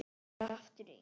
Ég er aftur ein.